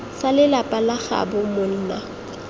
sa lelapa la gaabo monna